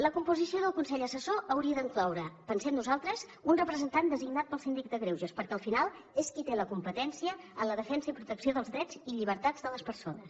la composició del consell assessor hauria d’incloure pensem nosaltres un representant designat pel síndic de greuges perquè al final és qui té la competència en la defensa i la protecció dels drets i llibertats de les persones